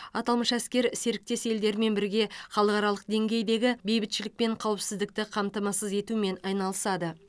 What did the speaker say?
аталмыш әскер серіктес елдермен бірге халықаралық деңгейдегі бейбітшілік пен қауіпсіздікті қамтамасыз етумен айналысады